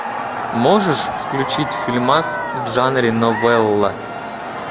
можешь включить фильмас в жанре новелла